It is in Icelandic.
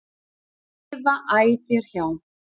lifa æ þér hjá.